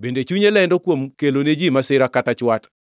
bende chunye lendo kuom kelo ne ji masira kata chwat.